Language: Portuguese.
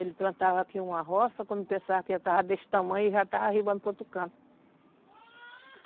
Ele plantava aqui uma roça, quando pensava que já estava desse tamanho, já estava arribando para outro canto.